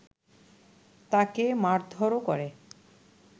তাকে মারধরও করে